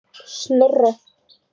Snorra